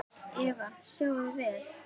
Eva: Sjáið þið vel?